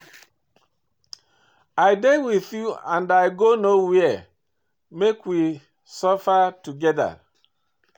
I dey with you and i go no where, make we suffer together.